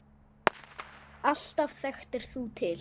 Alltaf þekktir þú til.